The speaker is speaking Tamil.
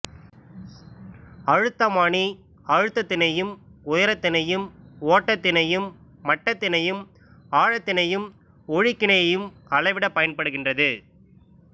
அழுத்தமானி அழுத்தத்தினையும் உயரத்தினையும் ஓட்டத்தினையும் மட்டத்தினையும்ஆழத்தினையும் ஒழுக்கினையையும் அளவீடப் பயன்படுகின்றது